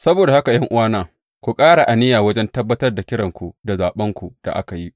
Saboda haka ’yan’uwana, ku ƙara aniya wajen tabbatar da kiranku da zaɓenku da aka yi.